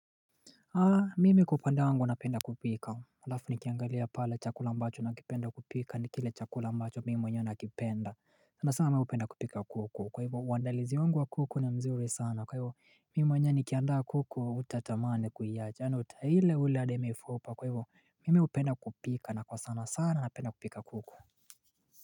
Haa mimi kwa upande wangu napenda kupika alafu nikiangalia pale chakula ambacho nakipenda kupika ni kile chakula ambacho mimi mwenyew nakipenda sana sana mimi hupenda kupika kuku kwa hivyo uandalizi wangu wa kuku na mzuri sana kwa hivyo mimi mwenyewe nikiandaa kuku hutatamani kuiacha yaani utaila ule hadi mifupa kwa hivyo mimi hupenda kupika na kwa sana sana napenda kupika kuku.